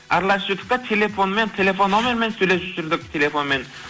араласып жүрдік та телефонмен телефон номермен сөйлесіп жүрдік телефонмен